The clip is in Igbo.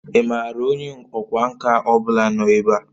Ị maara onye ọkwá nkà ọ bụla nọ ebe a?